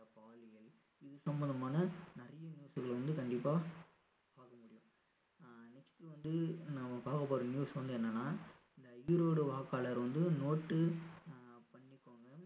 பாலியல் இது சம்பந்தமான நிறைய news கள் வந்து கண்டிப்பா பார்க்க முடியும் ஆஹ் next வந்து நம்ம பார்க்க போற news வந்து என்னன்னா இந்த ஈரோடு வாக்காளர் வந்து note உ அஹ் பண்ணிக்கோங்க